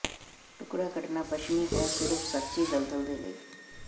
ਟੁਕੜਾ ਕੱਟਣਾ ਪੱਛਮੀ ਹੈ ਸਿਰਫ ਸੱਚੀ ਦਲਦਲ ਦੇ ਲਈ